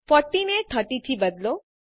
40 ને 30 થી બદલો